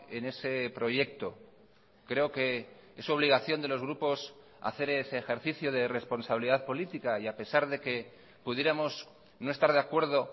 en ese proyecto creo que es obligación de los grupos hacer ese ejercicio de responsabilidad política y a pesar de que pudiéramos no estar de acuerdo